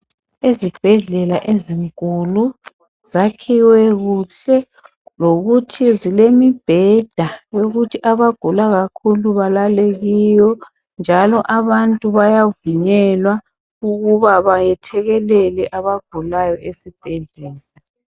Izibhedlela ezinkulu zakhiwe kuhle lokuthi zilemibheda yokuthi abagula kakhulu balale kiyo njalo abantu bayavunyelwa ukuba bayethekelele abagulayo esibhedlela.